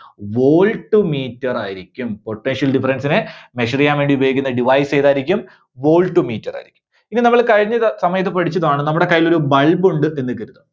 Voltmeter ആയിരിക്കും. Potential difference നെ measure ചെയ്യാൻ വേണ്ടി ഉപയോഗിക്കുന്ന device ഏതായിരിക്കും? voltmeter ആയിരിക്കും. ഇത് നമ്മള് കഴിഞ്ഞ സ~സമയത്ത് പഠിച്ചതാണ്. നമ്മുടെ കൈയിൽ ഒരു bulb ഉണ്ട് എന്ന് കരുതുക.